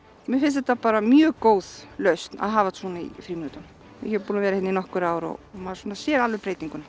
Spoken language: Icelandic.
mér finnst þetta bara mjög góð lausn að hafa svona í frímínútum ég er búin að vera hérna í nokkur ár og maður sér alveg breytinguna